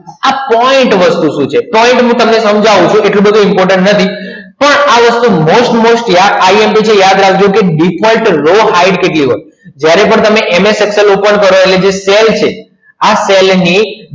આ point વસ્તુ શું છે point માં તમને સમજાવું છું એટલું બધું important નથી. પણ આ વસ્તુ most most imp યાદ છે યાદ રાખજો default કેટલી હોય જ્યારે પણ તમે MS Excel open કરો એટલે જ્યારે આ column ની